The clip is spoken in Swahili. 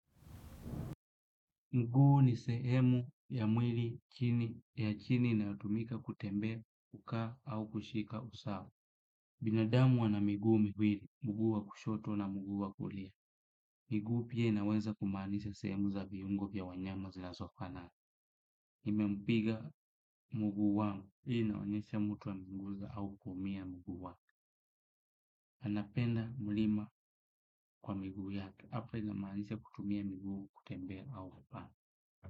Mguu ni sehemu ya mwili ya chini inayotumika kutembea kaa au kushika usaa. Binadamu anamiguu mwili, mguu wa kushoto na mguu wa kulia. Miguu pia inaweza kumaanisha sehemu za viungo vya wanyama zinasofanana. Nime mpiga mguu wangu hii inaonyesha mtu wa mguu za au kumia mguu wangu. Anapenda mlima kwa miguu ya hapa inamaanisha kutumia miguu kutembea au kupana.